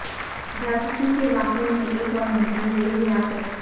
جاسوسی کے واقعہ میں ایک اور ملزم زیر حراست